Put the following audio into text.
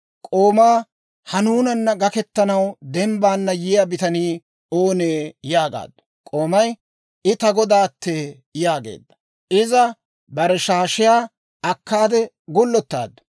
K'oomaa, «Ha nuunana gaketanaw dembbaana yiyaa bitanii oonee?» yaagaaddu. K'oomay, «I ta godaattee» yaageedda. Iza bare shaashiyaa akkaade gullottaaddu.